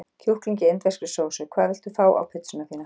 Kjúkling í indverskri sósu Hvað vilt þú fá á pizzuna þína?